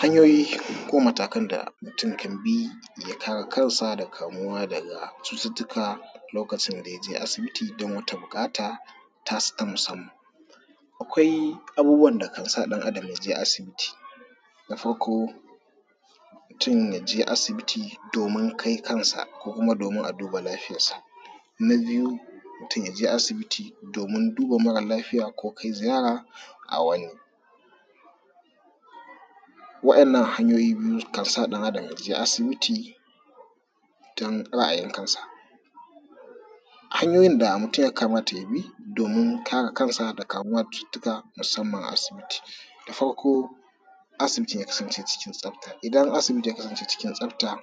Hanyoyi ko matakan da mutum kan bi ya kare kansa daga cututtuka lokacin da ya je asibiti don wata buƙata tasa ta musamman, akwai abubuwan da kansa ɗan Adam ya je asibiti na farko mutum ya je asibiti domin kai kansa ko kuma domin a duba lafiyansa, na biyu mutum ya je asibiti domin duba mara lafiya ko kai ziyara a wani wadannan hanyoyi biyu kansa ɗan Adam ya je asibiti dan ra’ayin kansa. Hanyoyin da mutum ya kamata ya bi don kare kansa daga kamuwa da cututtuka musamman a asibiti, na farko asibiti ya kasance cikin tsafta idan asibiti ya kasance ciki tsafta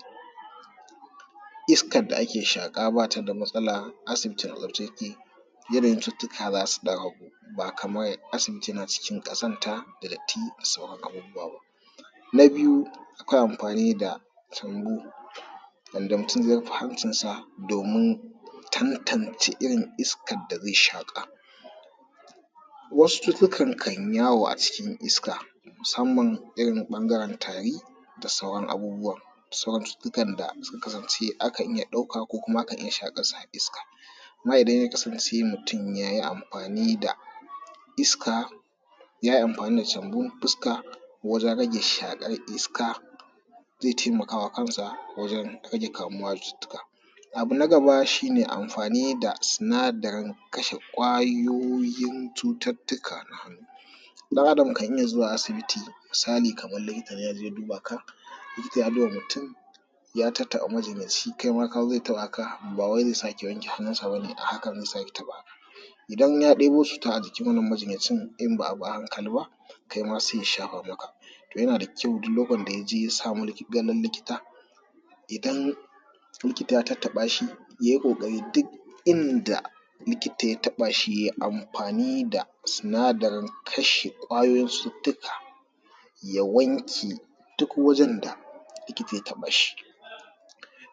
iskar da ake shaƙa ba ta da matsala, asibitin a tsaftace yake yanayin cututtuka za su ɗan ragu ba kaman as ibiti yana cikin ƙazanta da datti da sauran abubuwa ba. Na biyu akwai amfani da tungu yanda mutum ze rufe hancinsa domin tantance irin iska da ze shaƙa, wasu cututtukan kan yawo a cikin iska musamman irin ɓangaren tari da sauran abubuwa da sauran cututtukan da sukan kasance akan iya ɗauka ko kuma akan shaƙar shi a iska amma idan ya kasance mutum ya yi amfani da iska ya yi amfani da jambun fuska wajen rage shaƙar iska ze taimakawa kansa wajen rage kamuwa da cututtuka. Abu na gaba shi ne amfani da sinadarin kashe kwayoyin cututtuka na hannu. ɗan Adam kan iya zuwa asibiti misali kaman likitan ya je duba ka likita ya duba mutum ya tattaɓa majinyanci kai ma ya zo ya taɓaka ba wai ze sake wanke hannunsa ba ne, a hakan ze sake taɓa ka idan ya ɗebo cuta a jikin wannan majinyacin in ba a bi a hankali ba kai ma se ya shafa maka. To, yana da kyau duk lokacin da ya je ya samu ganin likita idan likita ya tattaba shi ya yi ƙoƙari duk inda likita ya taba shi ye amfani da sinadarin kashe kwayoyin cututtuka, ya wanke duk wajen da likita ya taɓa shi.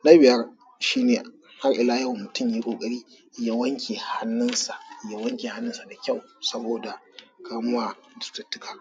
Na biyar shi ne har ila yau mutum ya yi ƙoƙari ya wanke hannunsa ya wanke hannusa da kyau saboda kamuwa da cututtuka.